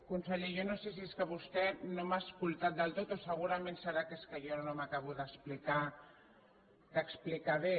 conseller jo no sé si és que vostè no m’ha escoltat del tot segurament deu ser que jo no m’acabo d’explicar bé